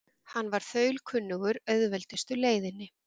Hann var þaulkunnugur auðveldustu leiðinni.